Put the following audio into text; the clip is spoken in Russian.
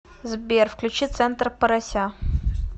сбер включи центр порося